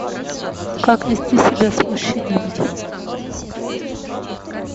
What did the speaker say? как вести себя с мужчинами